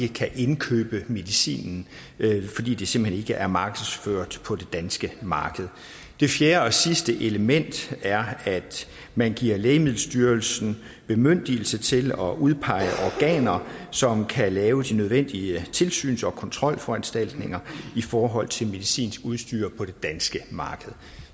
kan købe medicinen fordi det simpelt hen ikke er markedsført på det danske marked det fjerde og sidste element er at man giver lægemiddelstyrelsen bemyndigelse til at udpege organer som kan lave de nødvendige tilsyns og kontrolforanstaltninger i forhold til medicinsk udstyr på det danske marked